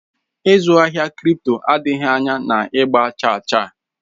Ịzụ ahịa kripto adịghị anya na ịgba chaa chaa